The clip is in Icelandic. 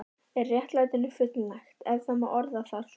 Er réttlætinu fullnægt, ef það má orða það svo?